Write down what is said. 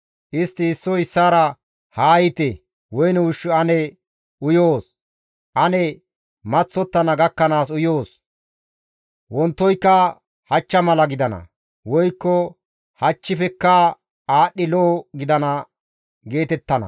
Istti issoy issaara, «Haa yiite; woyne ushshu ane uyoos. Ane maththottana gakkanaas uyoos! Wontoyka hachcha mala gidana; woykko hachchifekka aadhdhi lo7o gidana» geetettana.